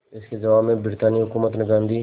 इसके जवाब में ब्रितानी हुकूमत ने गांधी